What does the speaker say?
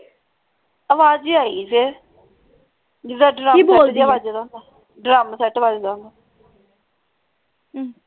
ਆਹ ਵਾਜ ਜਿਹੀ ਆਈ ਫੇਰ ਜਿੱਦਾਂ ਜਿਹਾ ਵੱਜਦਾ ਹੁੰਦੇ drum set ਵੱਜਦਾ ਹੁੰਦੇ